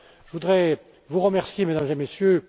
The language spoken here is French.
Je voudrais vous remercier Mesdames et Messieurs.